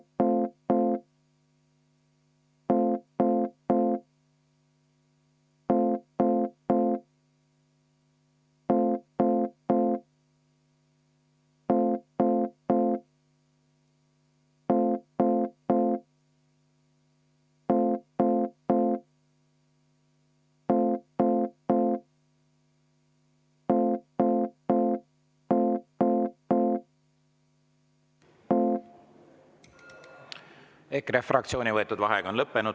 EKRE fraktsiooni võetud vaheaeg on lõppenud.